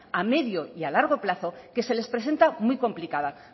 a medio y a largo plazo que se les presenta